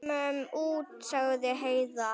Komum út, sagði Heiða.